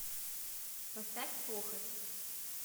поставь похоть